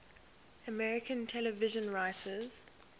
american television writers